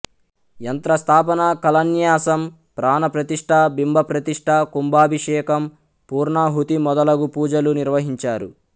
యంత్రస్థాపన కళాన్యాసం ప్రాణప్రతిష్ఠ బింబప్రతిష్ఠ కుంభాభిషేకం పూర్ణాహుతి మొదలగు పూజలు నిర్వహించారు